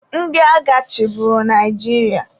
Ndị agha chịburu Naijiria.